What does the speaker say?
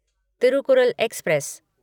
Thirukkural express